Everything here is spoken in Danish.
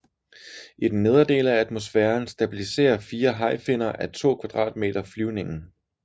I den nedre del af atmosfæren stabiliserer fire hajfinner á 2 m² flyvningen